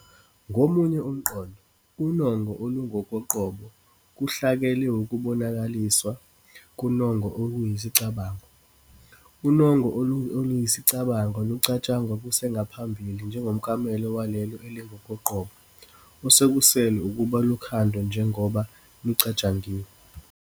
Ngomunye umqondo, unongo olungokoqobo "kuhlake liwukubonakaliswa konongo oluyisicabango, unongo oluyisicabango lucatshangwa kusengaphambili njengomklamo walelo elingokoqobo", osekusele ukuba lukhandwe njengoba lucatshangiwe.